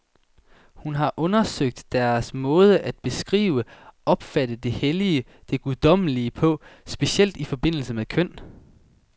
Hun har undersøgt deres måde at beskrive, opfatte det hellige, det guddommelige på, specielt i forbindelse med køn.